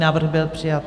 Návrh byl přijat.